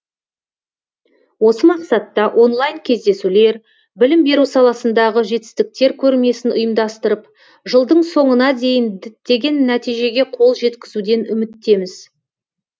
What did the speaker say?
осы мақсатта онлайн кездесулер білім беру саласындағы жетістіктер көрмесін ұйымдастырып жылдың соңына дейін діттеген нәтижеге қол жеткізуден үміттеміз